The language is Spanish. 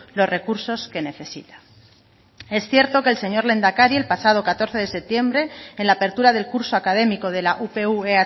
los recursos que necesita es cierto que el señor lehendakari el pasado catorce de septiembre en la apertura del curso académico de la upv